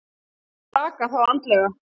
Hrakar þá andlega.